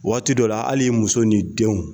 Waati dɔ la ali i muso ni denw